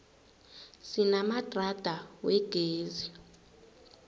sinamadrada wegezi